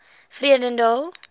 vredendal